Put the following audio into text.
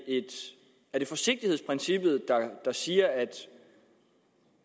er forsigtighedsprincippet der siger at